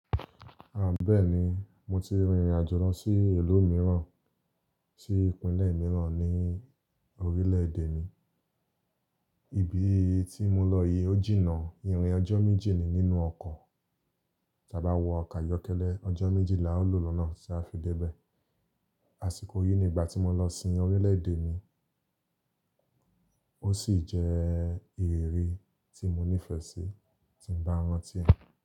Ahn bẹ́ẹ̀ni, mo ti rìnrìn àjò lọ sí ìlú mìíràn, sí ìpínlẹ̀ mìíràn ní orílẹ̀ èdè mi. Ibi tí mo lọ yìí ó jìnnà ìrìn ọjọ́ méjì ni nínú ọkọ̀, tí a bá wọ ọkọ̀ ayọ́kẹ́lẹ́, ọjọ́ méjì la o lò lọ́nà tí a fi dé bẹ́ẹ̀. Àsìkò yìí ni ìgbà tí mo lọ sin orílẹ̀ èdè mi, ó sì jẹ́ ìrírí tí mo nífẹ̀ẹ́ sí, tí ń bá rántí rẹ̀.